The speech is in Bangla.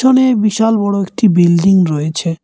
বিশাল বড় একটি বিল্ডিং রয়েছে।